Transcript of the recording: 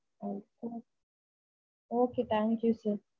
Okay thank you sir.